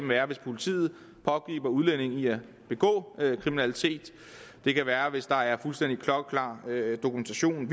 være hvis politiet pågriber udlændingen i at begå kriminalitet det kan være hvis der er fuldstændig klokkeklar dokumentation